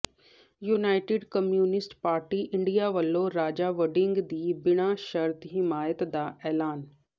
United communist party India ਵੱਲੋਂ ਰਾਜਾ ਵੜਿੰਗ ਦੀ ਬਿਨਾਂ ਸ਼ਰਤ ਹਮਾਇਤ ਦਾ ਐਲਾਨ